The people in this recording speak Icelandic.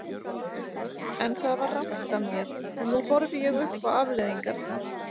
En það var rangt af mér og nú horfi ég upp á afleiðingarnar.